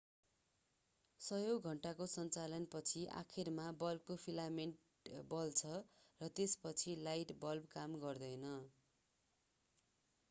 सयौं घण्टाको सञ्चालन पछि आखिरमा बल्बको फिलामेन्ट बल्छ र त्यसपछि लाइट बल्बले काम गर्दैन